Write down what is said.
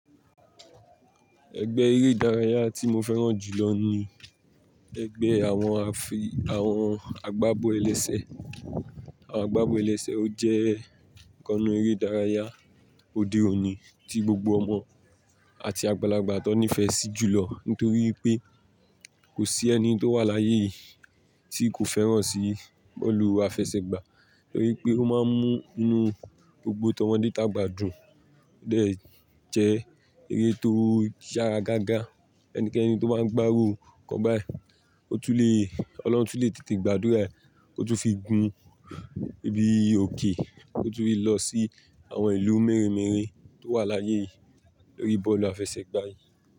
Ẹgbẹ́ eré ìdárayá tí mo fẹ́ràn jù lọ ni ẹgbẹ́ àwọn afi, àwọn àgbábọ̀ ẹlẹ́sẹ̀. Àwọn àgbábọ̀ ẹlẹ́sẹ̀ ó jẹ́ ìkannu eré ìdárayá òde òní tí gbogbo ọmọ àti àgbàlagbà tó nífẹ̀ẹ́ sí jùlọ nítorí pé kò sí ẹni tó wà láyé yìí tí kò fẹ́ràn sí bọ́ọ̀lù àfẹsẹ̀gbá nítorí pé ó máa ń mú inú gbogbo tọmọdé tàgbà dùn. Ó dẹ̀ jẹ́ eré tó yára gágá. Ẹnìkẹ́ni tó bá ń gbárù ìkan bá ẹ, ó tún lè, Ọlọ́run tún lè tètè gbàdúrà rẹ̀, kó tún fi gùn ibi òkè, kó tún fi lọ sí àwọn ìlú mẹ́rẹ̀mẹ́rẹ̀ tó wà láyé yìí lórí bọ́ọ̀lù àfẹsẹ̀gbá yìí.